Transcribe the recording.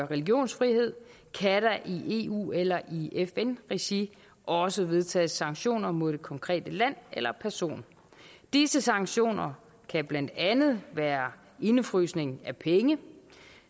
religionsfrihed kan der i eu eller i fn regi også vedtages sanktioner mod det konkrete land eller person disse sanktioner kan blandt andet være indefrysning af penge